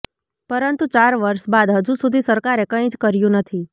પરંતુ ચાર વર્ષ બાદ હજુ સુધી સરકારે કંઇ જ કર્યું નથી